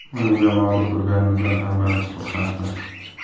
Uni jamoada ko‘rganimizdan hammamiz xursandmiz.